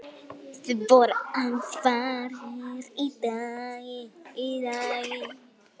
Það voru aðfarir í lagi!